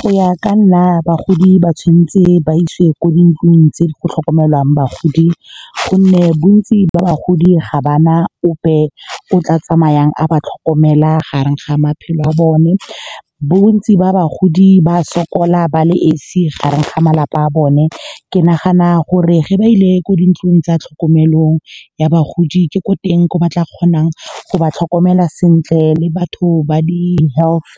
Go ya ka nna, bagodi ba tshwanetse ba isiwe kwa dintlong tse di go tlhokomelwang bagodi, gonne bontsi ba bagodi ga ba na ope yo o tla tsamayang a ba tlhokomela gareng ga maphelo a bone. Bontsi ba bagodi ba sokola ba le esi gareng ga malapa a bone. Ke nagana gore ge ba ile ko dintlong tsa tlhokomelong ya bagodi, ke ko teng ko ba tla kgonang go ba tlhokomela sentle, le batho ba di-health